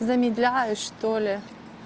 замедляет что ли